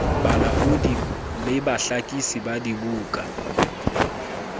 balaodi le bahlakisi ba dibuka